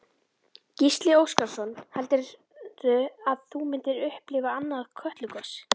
Gísli Óskarsson: Heldurðu að þú munir upplifa annað Kötlugos?